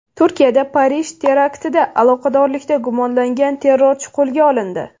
Turkiyada Parij teraktida aloqadorlikda gumonlangan terrorchi qo‘lga olindi.